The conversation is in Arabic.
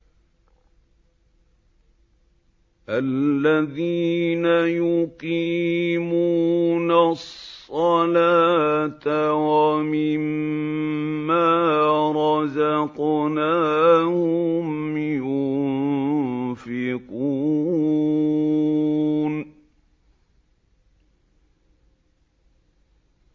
الَّذِينَ يُقِيمُونَ الصَّلَاةَ وَمِمَّا رَزَقْنَاهُمْ يُنفِقُونَ